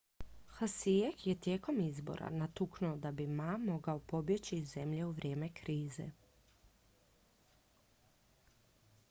hsieh je tijekom izbora natuknuo da bi ma mogao pobjeći iz zemlje u vrijeme krize